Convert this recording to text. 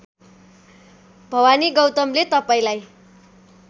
भवानी गौतमले तपाईँलाई